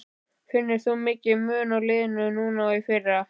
Finnur þú mikinn mun á liðinu núna og í fyrra?